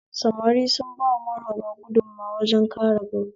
Samari sun ba maharba gudunmowa wajen kare gari